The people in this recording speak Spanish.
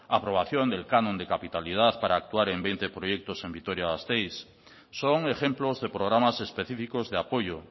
aprobación del canon de capitalidad para actuar en veinte proyectos en vitoria gasteiz son ejemplos de programas específicos de apoyo